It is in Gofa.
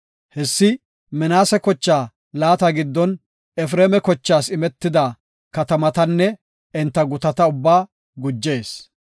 Hessi Minaase kochaa laata giddon Efreema kochaas imetida katamatanne enta gutata ubbaa gujees.